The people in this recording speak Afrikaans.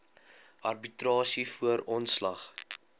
arbitrasie voor ontslag